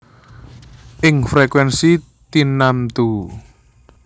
Ing frekuènsi tinamtu